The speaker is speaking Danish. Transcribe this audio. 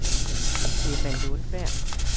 Emma Lundberg